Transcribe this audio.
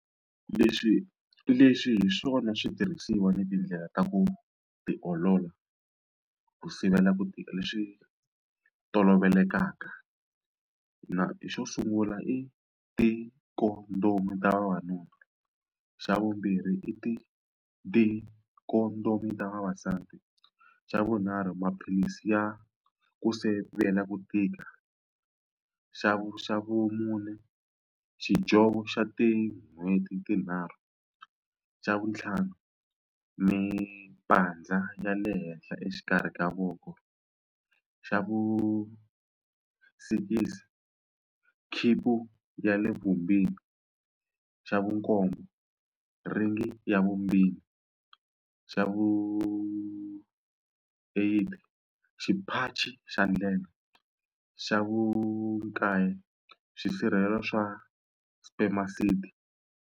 Leswi leswi hi swona switirhisiwa ni tindlela ta ku tiolola ku sivela ku tika leswi tolovelekaka na xo sungula i ti-condom ta vavanuna xa vumbirhi i ti ti-condom vavasati xa vunharhu maphilisi ya ku sivela ku tika xa xa vumune xidyovo xa tin'hweti tinharhu xa vutlhanu mipandza ya le henhla exikarhi ka voko xa vu sikisi ya le xa vu nkombo rhingi ya vumbirhi xa vu eight xipachi xa ndlela xa vu nkaye xisirhelelo swa spermicide.